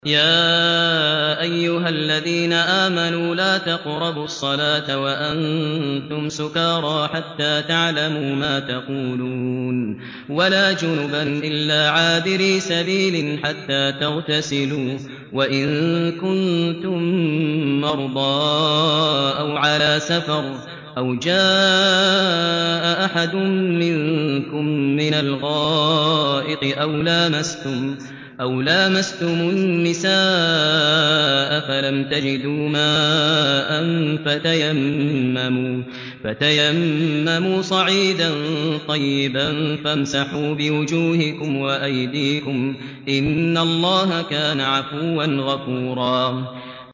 يَا أَيُّهَا الَّذِينَ آمَنُوا لَا تَقْرَبُوا الصَّلَاةَ وَأَنتُمْ سُكَارَىٰ حَتَّىٰ تَعْلَمُوا مَا تَقُولُونَ وَلَا جُنُبًا إِلَّا عَابِرِي سَبِيلٍ حَتَّىٰ تَغْتَسِلُوا ۚ وَإِن كُنتُم مَّرْضَىٰ أَوْ عَلَىٰ سَفَرٍ أَوْ جَاءَ أَحَدٌ مِّنكُم مِّنَ الْغَائِطِ أَوْ لَامَسْتُمُ النِّسَاءَ فَلَمْ تَجِدُوا مَاءً فَتَيَمَّمُوا صَعِيدًا طَيِّبًا فَامْسَحُوا بِوُجُوهِكُمْ وَأَيْدِيكُمْ ۗ إِنَّ اللَّهَ كَانَ عَفُوًّا غَفُورًا